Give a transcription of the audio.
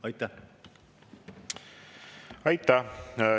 Aitäh!